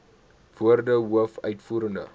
woorde hoof uitvoerende